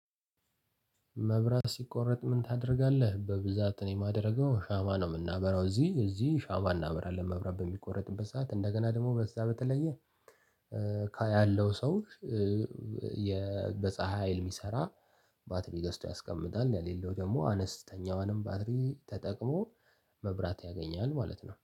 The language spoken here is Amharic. መብራት ሲቆረጥ ምን ታደርጋለ? በብዛት እኔ የማደርገው ሻማ ነው ምናበራው እዚህ እዚህ ሻማ እናበራለን መብራት በሚቆረጥበት ሰዓት እንደገና ደግሞ በዛ በተለየ ያለው ሰው የ በፀሀይ ሀይል ሚሰራ ባትሪ ገዝቶ ያስቀምጣል የሌለው ደግሞ አነስተኛዋንም ባትሪ ተጠቅሞ መብራት ያገኛል ማለት ነው።